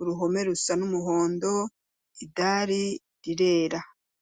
uruhome rusa n'umuhondo idari rirera.